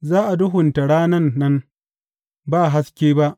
Za a duhunta ranan nan, ba haske ba.